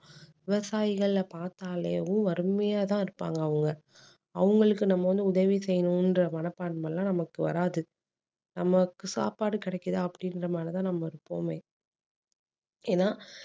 விவசாயிகள பாத்தாலேவும் வறுமையாதான் இருப்பாங்க அவங்க அவங்களுக்கு நம்ம வந்து உதவி செய்யணுங்கற மனப்பான்மை எல்லாம் நமக்கு வராது நமக்கு சாப்பாடு கிடைக்குதா அப்படீன்ற மாதிரி தான் நம்ம எப்போவுமே ஏன்னா